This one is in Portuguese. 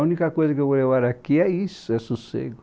A única coisa que eu vou levar aqui é isso, é sossego.